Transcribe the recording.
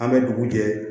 An bɛ dugu jɛ